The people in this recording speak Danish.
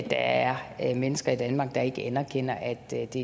der er mennesker i danmark der ikke anerkender at det er de